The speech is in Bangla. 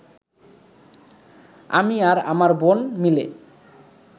আমি আর আমার বোন মিলে